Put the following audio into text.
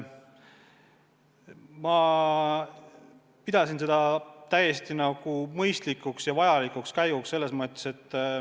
Ma pidasin seda täiesti mõistlikuks ja vajalikuks käiguks.